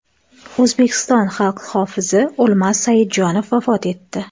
O‘zbekiston xalq hofizi O‘lmas Saidjonov vafot etdi.